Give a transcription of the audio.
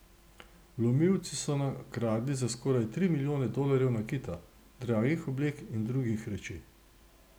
Vlomilci so nakradli za skoraj tri milijone dolarjev nakita, dragih oblek in drugih reči.